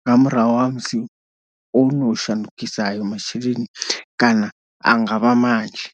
nga murahu ha musi ono shandukisa ayo masheleni kana a nga vha manzhi.